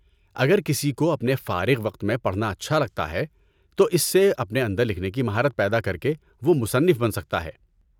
اگر کسی کو اپنے فارغ وقت میں پڑھنا اچھا لگتا ہے تو اس سے اپنے اندر لکھنے کی مہارت پیدا کرکے وہ مصنف بن سکتا ہے۔